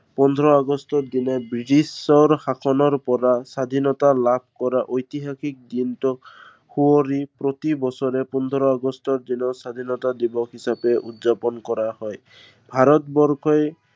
পোন্ধৰ আগষ্টৰ দিনা বৃটিছৰ শাসনৰ পৰা স্বাধীনতা লাভ কৰা ঐতিহাসিক দিনটোক, সুঁৱৰি প্ৰতিবছৰে স্বাধীনতা দিৱস হিচেপা উদযাপন কৰা হয়। ভাৰতবৰ্ষই